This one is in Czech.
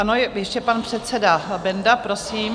Ano, ještě pan předseda Benda, prosím.